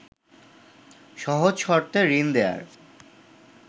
সহজ শর্তে ঋণ দেয়ার